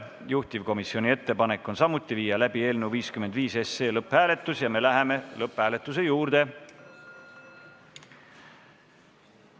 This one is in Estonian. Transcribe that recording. Juhtivkomisjoni ettepanek on samuti viia läbi eelnõu 55 lõpphääletus ja me läheme selle juurde.